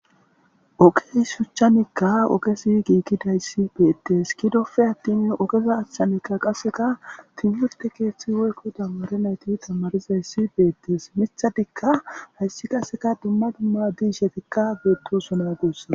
Ogez shuchchanikka ogezi gigidays betes gidoppe atin ogeza achanikka qase timirte keththi woyikko tamare nayti tamarizayss bettes miththatika hays qase dumma dumma mishshatikka betosona gusukko